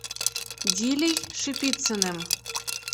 дилей шипицыным